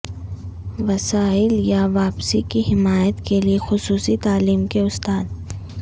وسائل یا واپسی کی حمایت کے لئے خصوصی تعلیم کے استاد